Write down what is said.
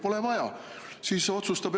Pole vaja!